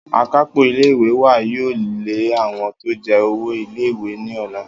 Akápò ilé ìwé wa yóò lé àwo̩n tó je̩ owó ilé ìwé ní ò̩la